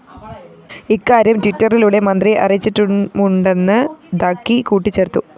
ഇക്കാര്യം ട്വിറ്ററിലൂടെ മന്ത്രിയെ അറിയിച്ചിട്ടുമുണ്ടെന്ന് ദഗ്ഗി കൂട്ടിച്ചേര്‍ത്തു